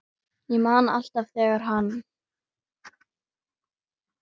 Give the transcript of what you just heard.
Ég man alltaf þegar hann